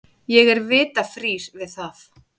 Ég er vita frír við það.